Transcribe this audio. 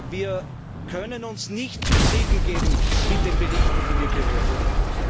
Wir können uns nicht zufriedengeben mit den Berichten, die wir gehört haben.